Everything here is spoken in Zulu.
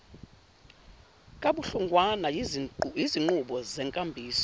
kabuhlungwana yizinqumo zenkambiso